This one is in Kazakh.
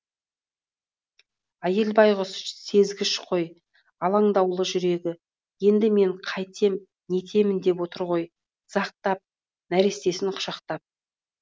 әйел байғұс сезгіш қой алаңдаулы жүрегі енді мен қайтем нетемін деп отыр ғой дызақтап нәрестесін құшақтап